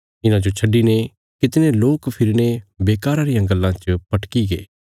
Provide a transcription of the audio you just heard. इन्हांजो छड्डिने कितणे लोक फिरीने बेकारा रियां गल्लां च भटकीगे